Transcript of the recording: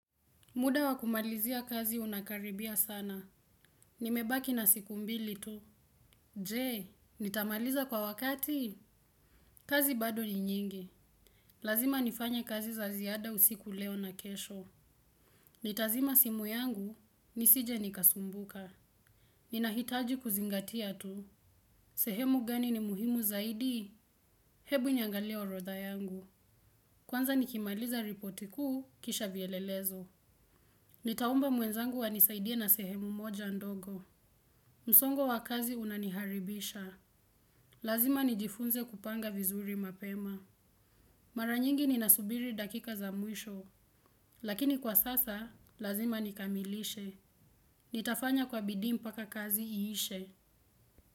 Muda wa kumalizia kazi unakaribia sana. Nimebaki na siku mbili tu. Je, nitamaliza kwa wakati? Kazi bado ni nyingi. Lazima nifanya kazi za ziada usiku leo na kesho. Nitazima simu yangu, nisije nikasumbuka. Ninahitaji kuzingatia tu. Sehemu gani ni muhimu zaidi? Hebu niangalie orodha yangu. Kwanza nikimaliza ripoti kuu, kisha vielelezo. Nitaomba mwenzangu anisaidie na sehemu moja ndogo. Msongo wa kazi unaniharibisha. Lazima nijifunze kupanga vizuri mapema. Mara nyingi ninasubiri dakika za mwisho. Lakini kwa sasa, lazima nikamilishe. Nitafanya kwa bidii mpaka kazi iishe.